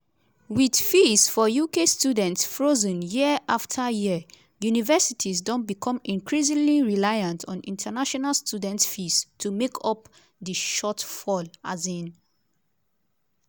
wit fees for uk students frozen year afta year universities don become increasingly reliant on international students' fees to make up di shortfall. um